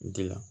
Dilan